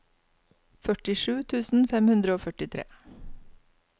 førtisju tusen fem hundre og førtitre